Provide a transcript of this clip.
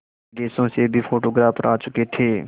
विदेशों से भी फोटोग्राफर आ चुके थे